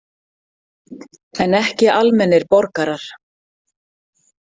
En ekki almennir borgarar.